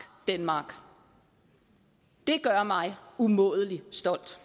denmark det gør mig umådelig stolt